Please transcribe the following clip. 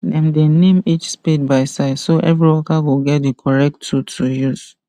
dem dey name each spade by size so every worker go get the correct tool to use